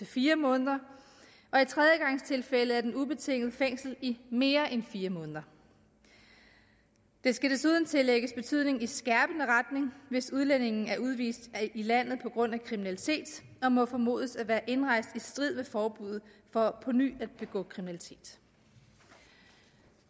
fire måneder og i tredjegangstilfælde er den ubetinget fængsel i mere end fire måneder det skal desuden tillægges betydning i skærpende retning hvis udlændingen er udvist af landet på grund af kriminalitet og må formodes at være indrejst i strid med forbuddet for på ny at begå kriminalitet